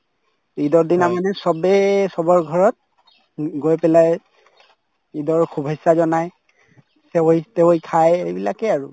ঈদৰ দিনা মানে চবেই চবৰ ঘৰত উম গৈ পেলাই ঈদৰ শুভেছা জনাই চেৱাই তেৱাই খাই এইবিলাকে আৰু